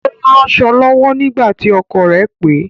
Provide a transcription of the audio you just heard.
Ó ń ránsọ̀ lọwọ́ nígbà tí ọkọ̀ rẹ̀ pè